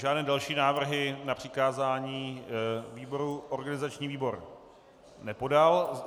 Žádné další návrhy na přikázání výboru organizační výbor nepodal.